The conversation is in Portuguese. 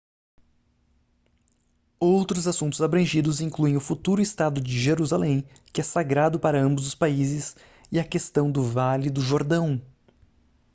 outros assuntos abrangidos incluem o futuro estado de jerusalém que é sagrado para ambos os países e a questão do vale do jordão